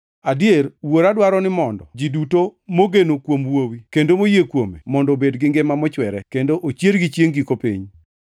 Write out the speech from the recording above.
Adier, Wuora dwaro ni mondo ji duto mogeno kuom Wuowi, kendo moyie kuome mondo obed gi ngima mochwere, kendo ochiergi chiengʼ giko piny.”